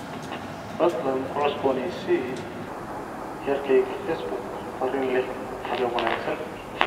fadlan ku cusboonaysii heerkayga facebook fariin leh habeen wanaagsan